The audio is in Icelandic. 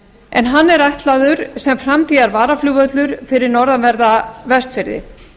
en hann er ætlaður sem framtíðarvaraflugvöllur fyrir norðanverða vestfirði